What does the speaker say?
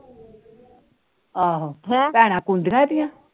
ਆਹੋ ਭੈਣਾ